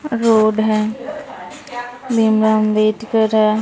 Road है भीमराव अंबेडकर हैं।